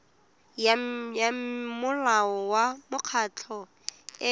ya molao wa mekgatlho e